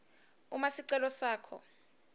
uma sicelo sakho